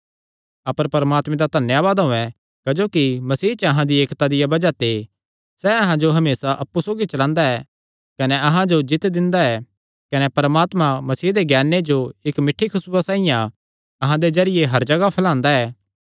अपर परमात्मे दा धन्यावाद होयैं क्जोकि मसीह च अहां दी एकता दिया बज़ाह ते सैह़ अहां जो हमेसा अप्पु सौगी चलांदा ऐ कने अहां जो जीत्त दिंदा ऐ कने परमात्मा मसीह दे ज्ञाने जो इक्क मिठ्ठी खुसबुया साइआं अहां दे जरिये हर जगाह फैलांदा ऐ